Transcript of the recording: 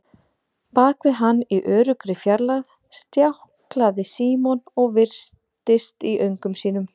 Bak við hann, í öruggri fjarlægð, stjáklaði Símon og virtist í öngum sínum.